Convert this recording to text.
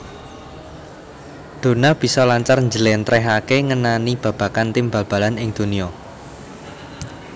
Donna bisa lancar njléntréhaké ngenani babagan tim bal balan ing donya